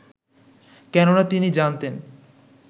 কেননা তিনি জানতেন